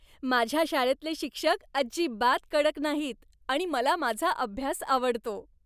माझ्या शाळेतले शिक्षक अजिबात कडक नाहीत आणि मला माझा अभ्यास आवडतो.